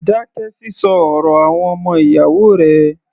Dákẹ́ sísọ ọ̀rọ̀ àwọn ọmọ ìyáwó rẹ̀!